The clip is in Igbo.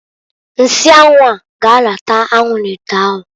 Nsị anwụ a g'arata anwụ n'ite ahụ